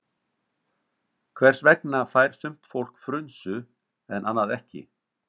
Hvers vegna fær sumt fólk frunsu en annað ekki?